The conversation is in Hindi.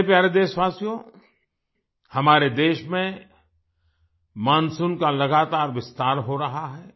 मेरे प्यारे देशवासियो हमारे देश में मानसून का लगातार विस्तार हो रहा है